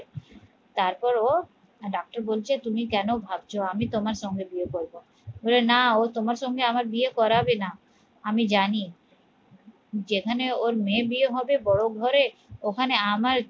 তারপর ও ডাক্তার বলছে তুমি কেন ভাবছো? আমি তোমার সঙ্গে বিয়ে করবো বলে না ও তোমার সঙ্গে আমার বিয়ে করাবে না, আমি জানি যেখানে ওর মেয়ের বিয়ে হবে বড ঘরে ওখানে আমার